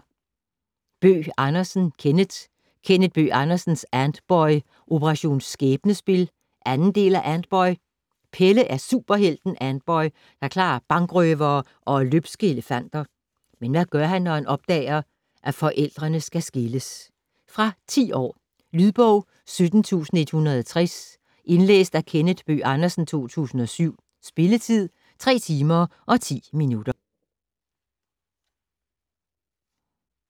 Bøgh Andersen, Kenneth: Kenneth Bøgh Andersens Antboy - Operation skæbnespil 2. del af Antboy. Pelle er superhelten Antboy og klarer bankrøvere og løbske elefanter! Men hvad gør han, da han opdager sine forældre skal skilles? Fra 10 år. Lydbog 17160 Indlæst af Kenneth Bøgh Andersen, 2007. Spilletid: 3 timer, 10 minutter.